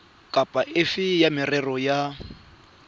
kapa efe ya merero ya